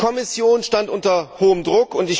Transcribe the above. Die Kommission stand unter großem Druck.